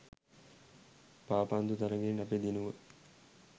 පාපන්දු තරඟෙන් අපි දිනුව.